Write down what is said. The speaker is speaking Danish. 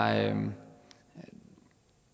at